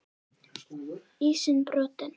Ísinn brotinn